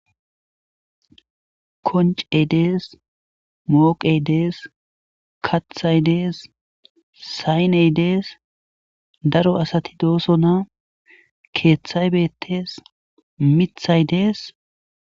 Koncey dees mooqey dees kathay dees sayney dees daro asati dooso na keeththay beettees mithay dees.